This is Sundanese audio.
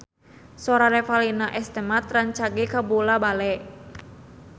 Sora Revalina S. Temat rancage kabula-bale